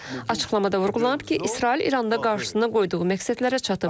Açıqlamada vurğulanıb ki, İsrail İranda qarşısına qoyduğu məqsədlərə çatıb.